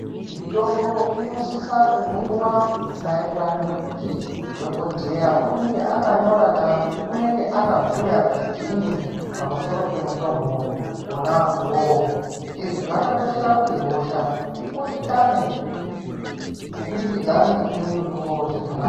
Mitombo inosisa kumwiwa maererano nekuti dhokodheya unenge akanyora kana kuti unenge akabhuya kuti chiini pamusoro pemutombo wona uwowo izvi zvakakoshera kuti hosha ikundikane kubudikidza ngekumwe mutombo zvakanaka.